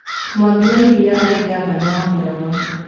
Mwangi wa Iria aarĩ ngavana wa Murang'a